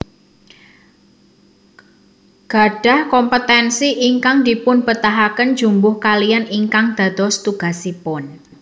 Gadhah kompetensi ingkang dipunbetahaken jumbuh kaliyan ingkang dados tugasipun